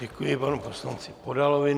Děkuji panu poslanci Podalovi.